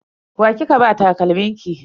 Wa kika ba takalmin ki?